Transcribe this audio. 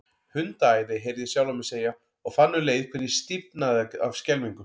Hundaæði, heyrði ég sjálfan mig segja, og fann um leið hvernig ég stífnaði af skelfingu.